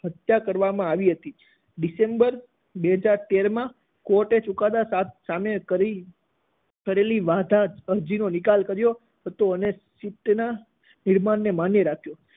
હત્યા કરવામાં આવી હતી. ડિસેમ્બર બે હાજર તેરમાં કોર્ટે ચૂકાદા સામે કરે~કરેલી વાંધા અરજીનો નિકાલ કર્યો હતો અને સીટના નિર્ણયને માન્ય રાખ્યો